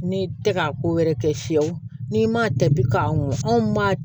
N'i tɛ ka ko wɛrɛ kɛ fiyewu n'i ma k'a mɔn anw ma